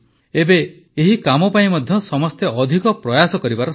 ଏବେ ଏହି କାମ ପାଇଁ ମଧ୍ୟ ସମସ୍ତେ ଅଧିକ ପ୍ରୟାସ କରିବାର ସମୟ